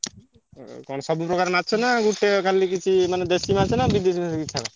କଣ ସବୁ ପ୍ରକାର ମାଛ ନା ଗୋଟେ କାଲେ କିଛି ମାନେ ଦେଶୀ ମାଛ ନା ବିଦେଶୀ ମାଛ କିଛି ଛାଡ?